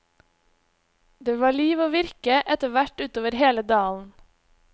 Det var liv og virke etterhvert utover hele dalen.